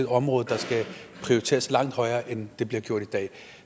område der skal prioriteres langt højere end det bliver i dag